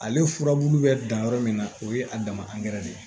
Ale furabulu bɛ dan yɔrɔ min na o ye a dama de ye